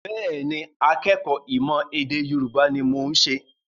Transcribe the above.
Bẹ́ẹ̀ ni, akẹ́kọ̀ọ́ ìmọ̀-ẹ̀dèYorubá ni mo ṣe.